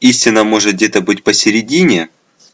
истина может где-то быть посередине